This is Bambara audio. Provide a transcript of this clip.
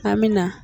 An bɛ na